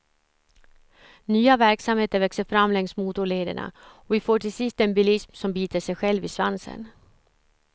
Nya verksamheter växer fram längs motorlederna och vi får till sist en bilism som biter sig själv i svansen.